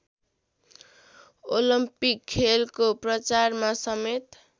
Olympic खेलको प्रचारमा समेत